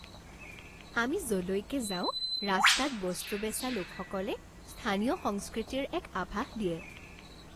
আমি য'লৈকে যাওঁ ৰাস্তাত বস্তু বেচা লোকসকলে স্থানীয় সংস্কৃতিৰ এক আভাস দিয়ে।